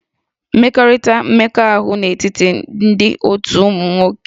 Mmekọrịta mmekọahụ n'etiti ndị otu nwoke na nwoke ma nwanyị na nwaanyị na-abawanye